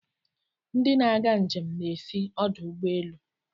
Ndị na-aga njem na-esi ọdụ ụgbọ elu.